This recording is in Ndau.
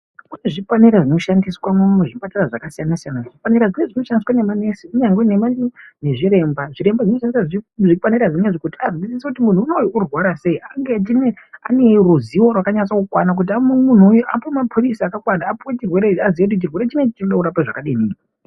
Kune zvipanera zvinoshandiswa muzvipatara zvakasiyana siyana, zvipanera zvinezvi zvinoshandiswa ngema nurse kunyangwe nezviremba ,zviremba zvinoshandiswa zvipanera zvinezvi kuti azwisise kuti muntu unowu unorwara sei, ange aneruziwo rwakanase kukwana kuti muntu unowu apuwe ma pilizi akakwana aziye kuti chirwere ichi chinoda kurapa zvakadini.